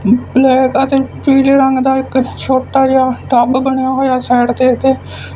black ਅਤੇ ਪੀਲੇ ਰੰਗ ਦਾ ਇੱਕ ਛੋਟਾ ਜਿਹਾ ਟੱਬ ਬਣਿਆ ਹੋਇਆ ਸਾਈਡ ਤੇ ਇਹਦੇ--